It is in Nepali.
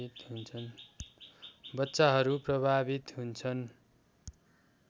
बच्चाहरू प्रभावित हुन्छन्